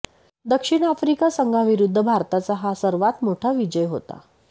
दक्षिण आफ्रिका संघाविरुद्ध भारताचा हा सर्वात मोठा विजय होता